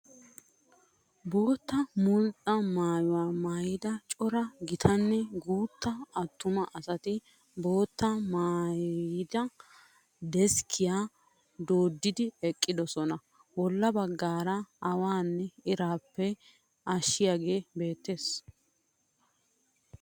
Bootta mulxxa mayyuwaa mayyida cora gitanne guutta attuma asati boottaa mayyida deskkiyaa dooddidi eqqidosona. Bolla baggaara awaanne iraappe ashshiyagee beettes.